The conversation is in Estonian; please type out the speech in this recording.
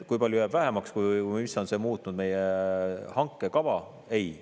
Kui palju jääb vähemaks või kuidas on see muutnud meie hankekava?